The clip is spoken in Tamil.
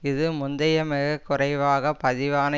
இது முந்தைய மிக குறைவாக பதிவான